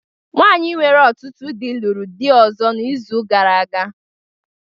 Nwanyị nwere ọtụtụ di lụrụ di ọzọ n’izu gara aga